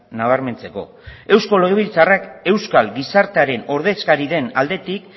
nabarmentzeko eusko legebiltzarrak euskal gizartearen ordezkari den aldetik